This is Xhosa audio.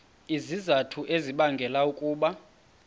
izizathu ezibangela ukuba